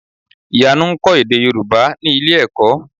Ìyanu ń kọ́ èdè Yorùbá ní ilé-ẹ̀kọ́.